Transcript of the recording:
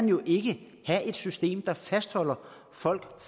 jo ikke have et system der fastholder folk